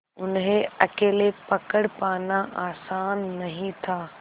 उन्हें अकेले पकड़ पाना आसान नहीं था